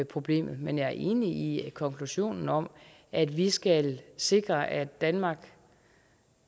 problemet men jeg er enig i at konklusionen om at vi skal sikre at danmark